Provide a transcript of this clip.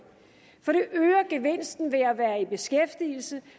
gevinsten ved at være i beskæftigelse